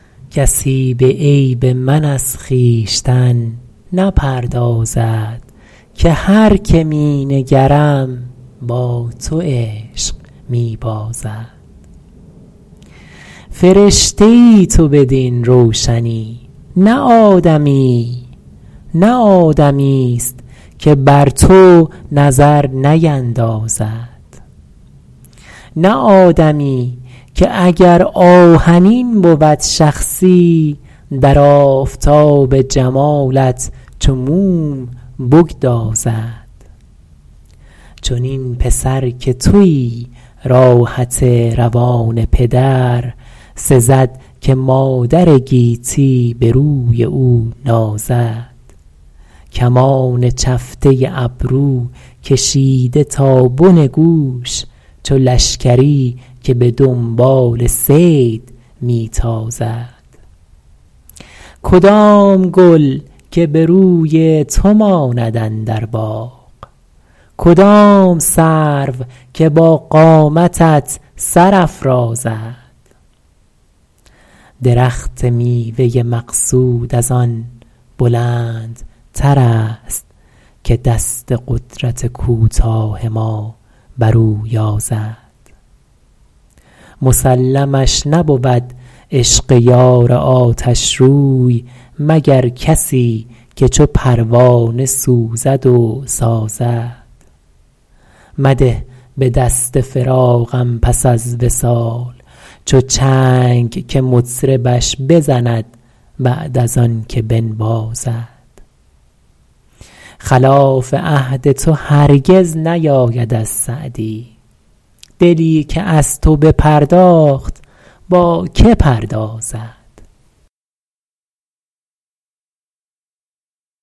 کسی به عیب من از خویشتن نپردازد که هر که می نگرم با تو عشق می بازد فرشته ای تو بدین روشنی نه آدمیی نه آدمیست که بر تو نظر نیندازد نه آدمی که اگر آهنین بود شخصی در آفتاب جمالت چو موم بگدازد چنین پسر که تویی راحت روان پدر سزد که مادر گیتی به روی او نازد کمان چفته ابرو کشیده تا بن گوش چو لشکری که به دنبال صید می تازد کدام گل که به روی تو ماند اندر باغ کدام سرو که با قامتت سر افرازد درخت میوه مقصود از آن بلندترست که دست قدرت کوتاه ما بر او یازد مسلمش نبود عشق یار آتشروی مگر کسی که چو پروانه سوزد و سازد مده به دست فراقم پس از وصال چو چنگ که مطربش بزند بعد از آن که بنوازد خلاف عهد تو هرگز نیاید از سعدی دلی که از تو بپرداخت با که پردازد